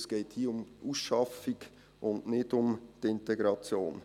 Hier geht es um Ausschaffung und nicht um Integration.